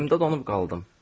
Yerimdə donub qaldım.